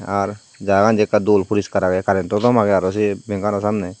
ar jaga gan jei ekka dol poriskar age current or tom age aro sei bank anor samne.